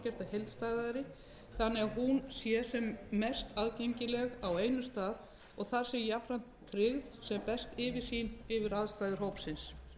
þannig að hún sé sem mest aðgengileg á einum stað og að þar sé jafnframt tryggð sem best yfirsýn yfir aðstæður hópsins